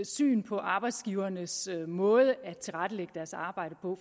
syn på arbejdsgivernes måde at tilrettelægge deres arbejde på